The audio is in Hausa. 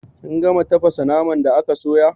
Kin gama tafasa naman da aka sayo?